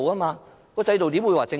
這個制度怎會是正常？